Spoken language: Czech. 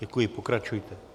Děkuji, pokračujte.